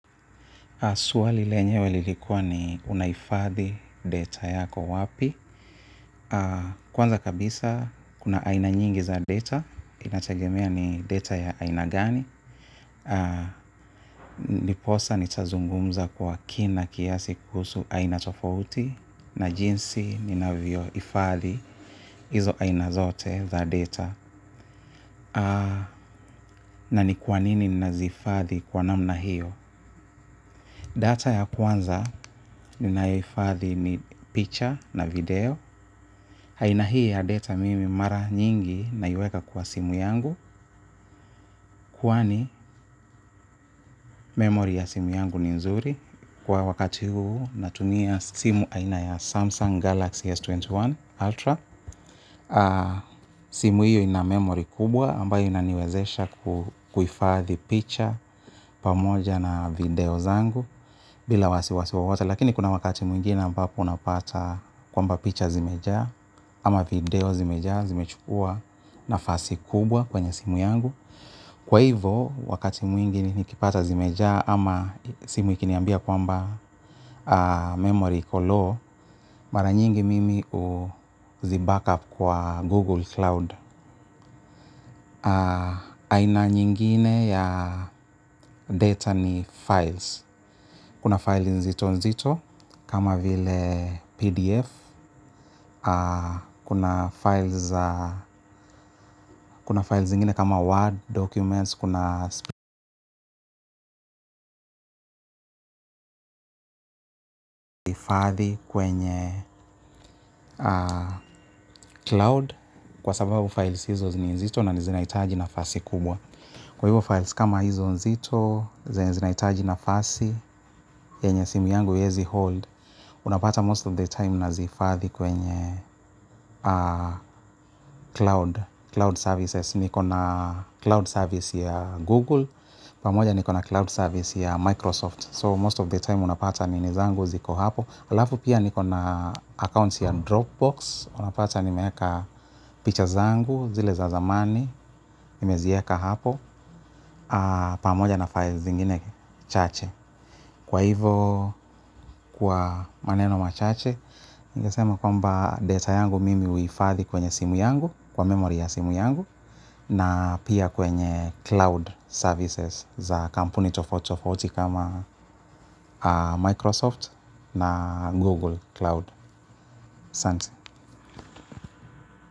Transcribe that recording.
Swali lenyewe lilikuwa ni unaifadhi data yako wapi. Kwanza kabisa kuna aina nyingi za data. Inategemea ni data ya aina gani. Ndiposa nitazungumza kwa kina kiasi kuhusu aina tofauti. Na jinsi ni navyo ifadhi hizo aina zote za data. Na ni kwa nini naziifadhi kwa namna hiyo. Data ya kwanza ninayoifahhi ni picture na video aina hii ya data mimi mara nyingi naiweka kwa simu yangu kwani memory ya simu yangu ni nzuri kwa wakati huu natumia simu aina ya Samsung Galaxy S21 Ultra. Simu hiyo ina memory kubwa ambayo inaniwezesha kuifadhi picture pamoja na video zangu. Bila wasiwasi wowote lakini kuna wakati mwingine ambapo unapata kwamba picture zimejaa. Ama video zimejaa zimechukua nafasi kubwa kwenye simu yangu. Kwa hivo wakati mwingi nikipata zimejaa ama simu ikiniambia kwamba memory iko low, mara nyingi mimi uzi backup kwa Google Cloud. Aina nyingine ya data ni files. Kuna files nzito-nzito kama vile PDF. Kuna files zingine kama Word, Documents. Kuna spreadsheet ifadhi kwenye Cloud. Kwa sababu files hizo zini nzito na nizinaitaji nafasi kubwa. Kwa hivo files kama hizo nzito zenye zinaitaji nafasi yenye simu yangu iezi hold unapata most of the time nazihifadhi kwenye cloud cloud services niko na cloud service ya google pamoja niko na cloud service ya microsoft so most of the time unapata ninizangu ziko hapo alafu pia niko na account ya dropbox unapata nimeeka picha zangu zile za zamani nimezieka hapo pamoja na files zingine chache kwa hivo kwa maneno machache ningesema kwamba data yangu mimi uifadhi kwenye simu yangu kwa memory ya simu yangu na pia kwenye cloud services za kampuni tofauti kama Microsoft na Google Cloud santi.